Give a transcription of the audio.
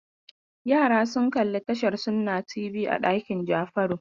Yara sun kalli tashar Sunna TV a ɗakin Jafaru.